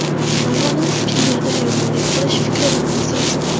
Avvalom kimgadir yomonlik qilish fikridan asrasin.